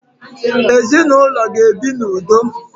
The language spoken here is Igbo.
Ezinụlọ ga ebi na udo